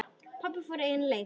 Pabbi fór eigin leiðir.